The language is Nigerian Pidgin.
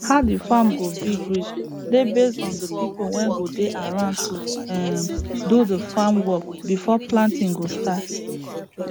how de farm go big reach dey base on de pipo wey go dey around to um do de farm work before planting go start